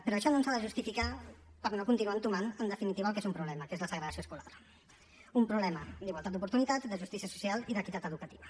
però això no ens ha de justificar per no continuar entomant en definitiva el que és un problema que és la segregació escolar un problema d’igualtat d’oportunitats de justícia social i d’equitat educativa